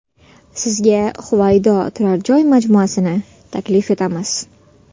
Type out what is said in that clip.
Sizga Huvaydo turar joy majmuasini taklif etamiz.